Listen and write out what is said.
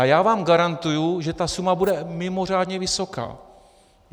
A já vám garantuji, že ta suma bude mimořádně vysoká.